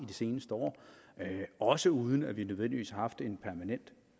de seneste år også uden at vi nødvendigvis har haft en permanent